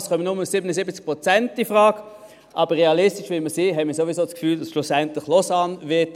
Es kommen nur 77 Prozent infrage, aber realistisch wie wir sind, haben wir ohnehin das Gefühl, dass Lausanne schlussendlich entscheiden wird.